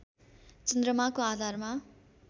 चन्द्रमाको आधारमा